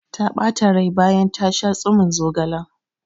Ta ɓata rai bayan ta sha tsumin zogalen.